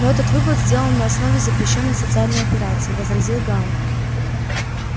но этот вывод сделан на основе запрещённой социальной операции возразил гаал